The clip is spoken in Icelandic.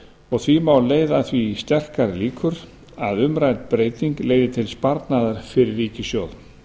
og því má leiða að því sterkar líkur að umrædd breyting leiði til sparnaðar fyrir ríkissjóð